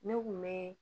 Ne kun bɛ